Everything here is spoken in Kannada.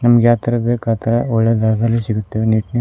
ನಮಗೆ ಯಾವ ತರದ್ ಬೇಕ್ ಆತರ ಒಳ್ಳೆ ಜಾಗದಲ್ಲಿ ಸಿಗುತ್ತವೆ.